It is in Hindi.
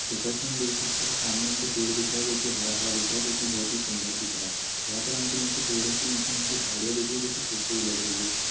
जैसा की हम देख सकते है सामने हमको पेड़ दिख रहा हैं जो की हरा हरा दिख रहा है जो कि बहुत ही सुंदर दिख रहा है यहाँ पर हमको नीचे पेड़ों के नीचे हमको झाड़ियाँ दिख रही है जो की सुखी हुई लग रही है।